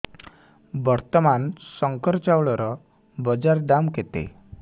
ବର୍ତ୍ତମାନ ଶଙ୍କର ଚାଉଳର ବଜାର ଦାମ୍ କେତେ